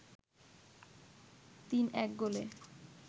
৩-১ গোলে